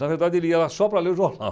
Na verdade, ele ia lá só para ler o jornal.